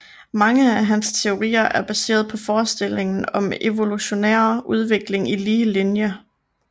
Mange af hans teorier er baseret på forestillingen om evolutionær udvikling i lige linje